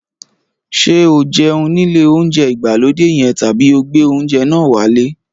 Ṣé o jẹun nílé oúnjẹ ìgbàlódé yẹn tàbí ó gbé oúnjẹ náà wálé?